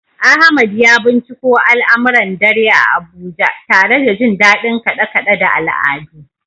Ahmad ya binciko al’amuran dare a Abuja, tare da jin dadin kade-kade da al’adu.